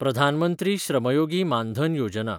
Pradhan Mantri Shram Yogi Maandhan Yojana